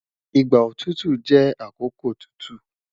Igba otutu jẹ akoko tutu